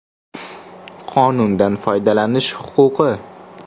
Qonundan foydalanish huquqi.